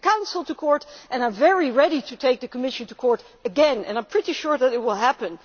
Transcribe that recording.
I took the Council to court and I am very ready to take the Commission to court again, and I am pretty sure that this will happen.